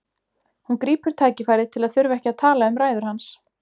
Hún grípur tækifærið til að þurfa ekki að tala um ræður hans.